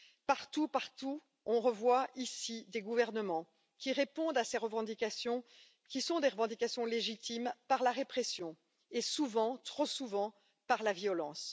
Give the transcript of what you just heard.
Partout, l'on revoit des gouvernements qui répondent à ces revendications qui sont légitimes par la répression et, souvent, trop souvent, par la violence.